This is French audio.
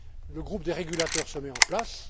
Le groupe des régulateurs se met en place.